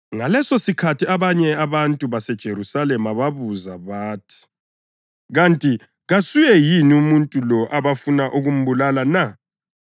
Ngalesosikhathi abanye abantu baseJerusalema babuza bathi, “Kanti kasuye yini umuntu lo abafuna ukumbulala na?